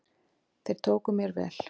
Þeir tóku mér vel.